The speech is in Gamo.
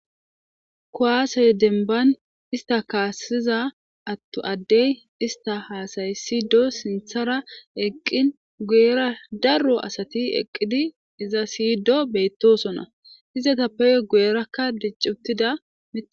kuwaasey denban ista kaassiza attu addey ista haasaysido sinthara eqqin guyera darro asati eqqidi iza siydo bettosona izata peyo guerakka diccuttida med